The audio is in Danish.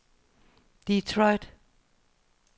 Detroit